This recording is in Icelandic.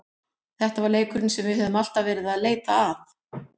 Þetta var leikurinn sem við höfðum alltaf verið að leita að.